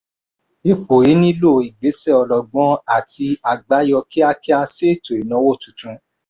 ipò yìí nílò ìgbésẹ̀ ọlọ́gbọ́n àti àbáyọ kíákíá sí ètò ìnáwó tuntun.